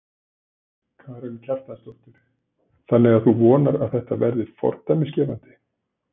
Karen Kjartansdóttir: Þannig að þú vonar að þetta verði fordæmisgefandi?